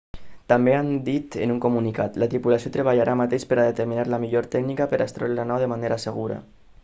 també han dit en un comunicat la tripulació treballa ara mateix per a determinar la millor tècnica per a extreure la nau de manera segura